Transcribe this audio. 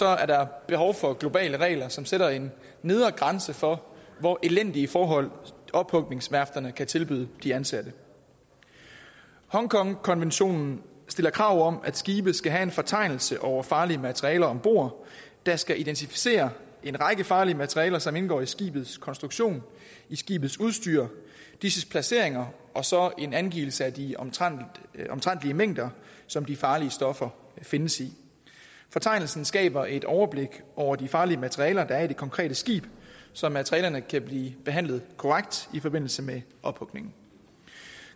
er der behov for globale regler som sætter en nedre grænse for hvor elendige forhold ophugningsværfterne kan tilbyde de ansatte hongkongkonventionen stiller krav om at skibe skal have en fortegnelse over farlige materialer om bord der skal identificere en række farlige materialer som indgår i skibets konstruktion i skibets udstyr disses placering og og så en angivelse af de omtrentlige omtrentlige mængder som de farlige stoffer findes i fortegnelsen skaber et overblik over de farlige materialer der er i det konkrete skib så materialerne kan blive behandlet korrekt i forbindelse med ophugning